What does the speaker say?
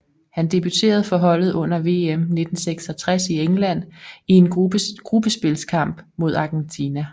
Han debuterede for holdet under VM 1966 i England i en gruppespilskamp mod Argentina